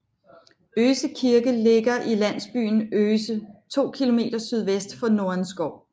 Øse Kirke ligger i landsbyen Øse 2 km sydvest for Nordenskov